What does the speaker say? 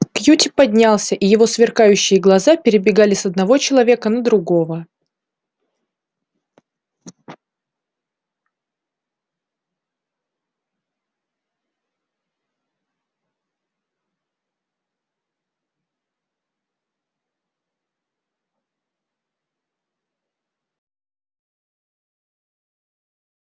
кьюти поднялся и его сверкающие глаза перебегали с одного человека на другого